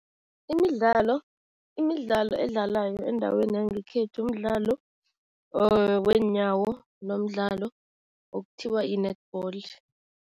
Imidlalo, imidlalo edlalwayo endaweni yangekhethu mdlalo weenyawo nomdlalo okuthiwa yi-netball.